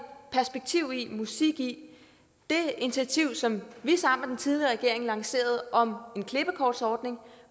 perspektiv i musik i det initiativ som vi sammen tidligere regering lancerede om en klippekortsordning